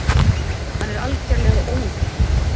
Hann er algerlega óútreiknanlegur!